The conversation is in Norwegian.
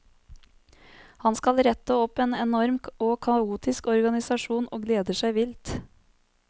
Han skal rette opp en enorm og kaotisk organisasjon og gleder seg vilt.